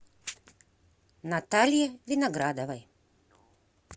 наталье виноградовой